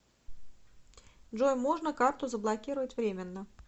джой можно карту заблокировать временно